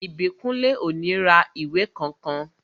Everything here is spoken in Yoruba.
Ìbíkúnlé ò ní ra ìwé kankan